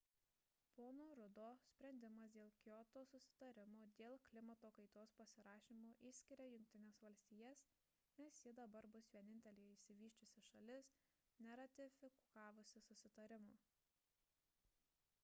pono ruddo sprendimas dėl kioto susitarimo dėl klimato kaitos pasirašymo išskiria jungtines valstijas nes ji dabar bus vienintelė išsivysčiusi šalis neratifikavusi susitarimo